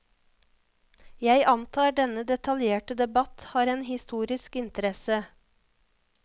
Jeg antar denne detaljerte debatt har en historisk interesse.